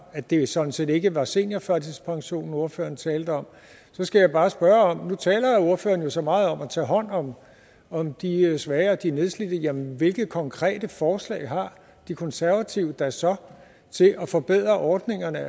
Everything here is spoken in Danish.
at det sådan set ikke var seniorførtidspension ordføreren talte om så skal jeg bare spørge nu taler ordføreren jo så meget om at tage hånd om om de svage og de nedslidte men hvilke konkrete forslag har de konservative da så til at forbedre ordningerne